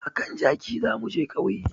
A kan jaki za mu je ƙauye